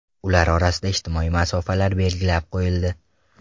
Ular orasida ijtimoiy masofalar belgilab qo‘yildi.